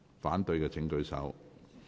反對的請舉手。